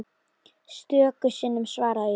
Stöku sinnum svaraði ég.